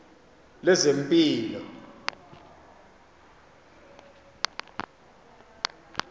lezempilo